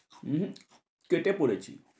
উম হম কেটে পড়েছি।